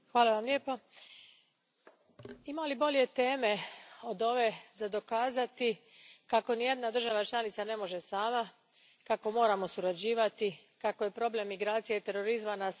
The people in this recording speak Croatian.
Gospodine predsjedniče, ima li bolje teme od ove za dokazati kako nijedna država članica ne može sama, kako moramo surađivati, kako nas je problem migracija i terorizma pozvao na suradnju.